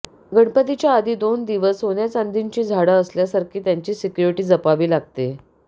गणपतीच्या आधी दोन दिवस सोन्याचांदीची झाडं असल्यासारखी त्याची सीक्युरीटी जपावी लागते